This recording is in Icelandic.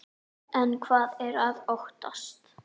En hvað er að óttast?